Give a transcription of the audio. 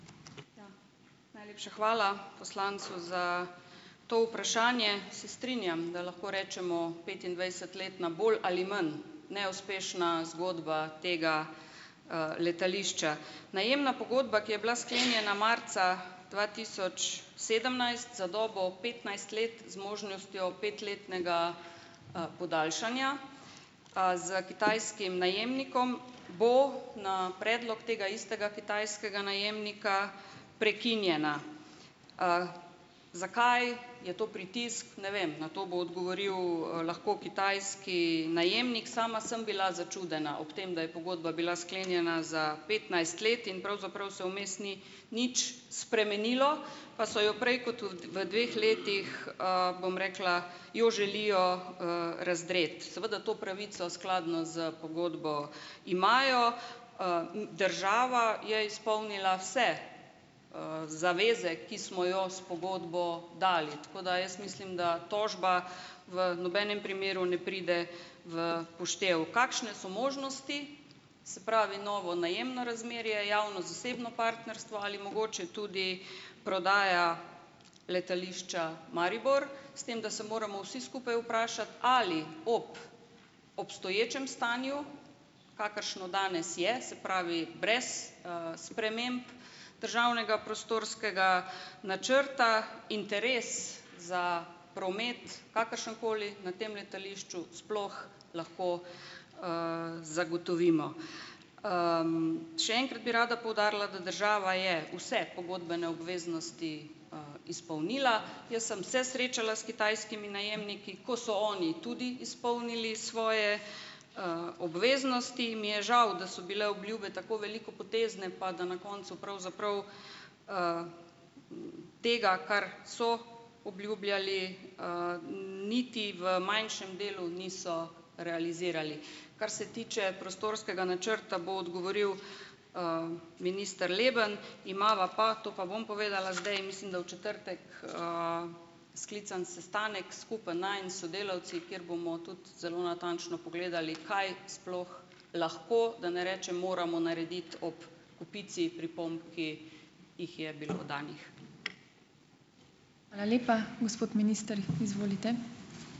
Najlepša hvala poslancu za to vprašanje. Se strinjam, da lahko rečemo petindvajset let na bolj ali manj neuspešna zgodba tega, letališča. Najemna pogodba, ki je bila sklenjena marca dva tisoč sedemnajst za dobo petnajst let z možnostjo petletnega, podaljšanja, s kitajskim najemnikom, bo na predlog tega istega kitajskega najemnika prekinjena, Zakaj, je to pritisk? Ne vem. Na to bo odgovoril, lahko kitajski najemnik. Sama sem bila začudena ob tem, da je pogodba bila sklenjena za petnajst let in pravzaprav se vmes ni nič spremenilo, pa so jo prej kot v v dveh letih, bom rekla, jo želijo, razdreti. Seveda to pravico skladno s pogodbo imajo, država je izpolnila vse, zaveze, ki smo jo s pogodbo dali, tako da jaz mislim, da tožba v nobenem primeru ne pride v poštev. Kakšne so možnosti? Se pravi, novo najemno razmerje, javno-zasebno partnerstvo ali mogoče tudi prodaja Letališča Maribor, s tem da se moramo vsi skupaj vprašati, ali ob obstoječem stanju, kakršno danes je, se pravi brez, sprememb državnega prostorskega načrta interes za promet, kakršenkoli na tem letališču, sploh lahko, zagotovimo. Še enkrat bi rada poudarila, da država je vse pogodbene obveznosti, izpolnila. Jaz sem se srečala s kitajskimi najemniki, ko so oni tudi izpolnili svoje, obveznosti in mi je žal, da so bile obljube tako velikopotezne pa da na koncu pravzaprav, tega, kar so obljubljali, niti v manjšem delu niso realizirali. Kar se tiče prostorskega načrta, bo odgovoril, minister Leben, imava pa, to pa bom povedala zdaj, mislim, da v četrtek, sklican sestanek, skupen, najin, s sodelavci, kjer bomo tudi zelo natančno pogledali, kaj sploh lahko, da ne rečem moramo narediti ob kupici pripomb, ki jih je bilo oddanih.